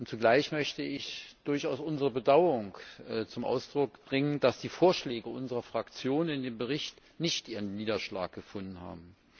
Zugleich möchte ich unser Bedauern zum Ausdruck bringen, dass die Vorschläge unserer Fraktion in dem Bericht nicht ihren Niederschlag gefunden haben.